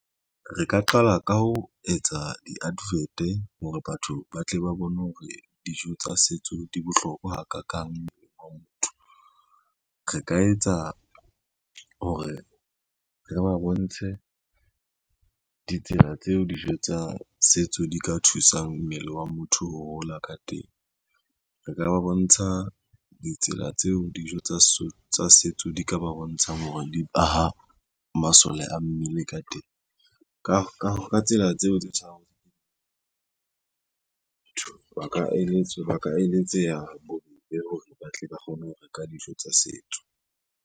Re ka qala ka ho etsa di-advert hore batho ba tle ba bone hore dijo tsa setso di bohlokwa hakakang mmeleng wa motho. Re ka etsa hore re ba bontshe ditsela tseo dijo tsa setso di ka thusang mmele wa motho ho hola ka teng. Re ka ba bontsha ditsela tseo dijo tsa setso di ka ba bontshang hore di aha masole a mmele ka teng, ka tsela tseo tse ba ka eletseha bobebe hore ba tle ba kgone ho reka dijo tsa setso.